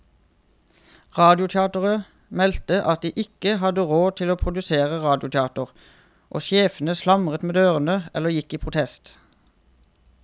Radioteateret meldte at de ikke hadde råd til å produsere radioteater, og sjefene slamret med dørene eller gikk i protest.